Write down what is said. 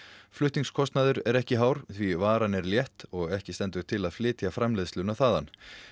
flutningskostnaður er ekki hár því varan er létt og ekki stendur til að flytja framleiðsluna þaðan